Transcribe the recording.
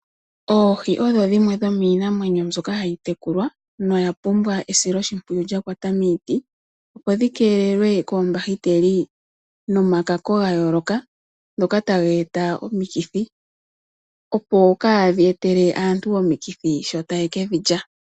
Oohi odho dhimwe dhomiinamwenyo mbyoka hayitekulwa noya pumbwa esiloshimpwiyu lyakwata miiti , opo dhi keelelwe koombahiteli nomakako gayooloka ngoka taga eta omikithi, opo kaadhi etele aantu omikithi shoka taye kedhi lya.